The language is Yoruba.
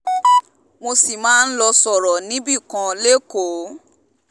mo sì máa lọ́ọ́ sọ̀rọ̀ níbìkan lẹ́kọ̀ọ́